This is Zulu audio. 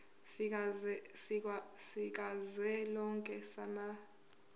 sikazwelonke samabanga r